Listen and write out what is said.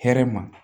Hɛrɛ ma